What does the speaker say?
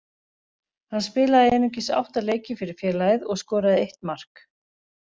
Hann spilaði einungis átta leiki fyrir félagið og skoraði eitt mark.